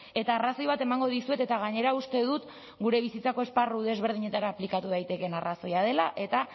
eta arrazoi bat emango dizuet eta gainera uste dut gure bizitzako esparru desberdinetara aplikatu daitekeen arrazoia dela eta